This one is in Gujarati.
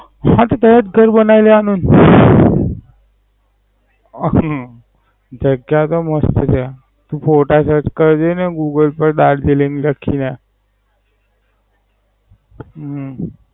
હ તો ત્યાં જ ઘર બનાઈ લેવાનું હમ જગ્યા તો મસ્ત છે. Search photos કરજે ને Google પર દાર્જલિંગ ત્યાં